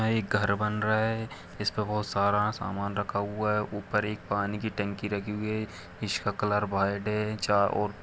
यहा एक घर बन रहा है इस पे बहुत सारा सामान रखा हुआ है ऊपर एक पानी की टंकी रखी हुई है इसका कलर वाईट है चार ओ--